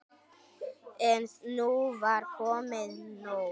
En nú var komið nóg.